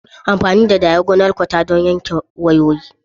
Amfani da diagonal cutter don yanke wayoyi.